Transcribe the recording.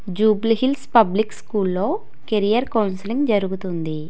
Jubilee Hills public స్కూల్లో career counselling జరుగుతుంది.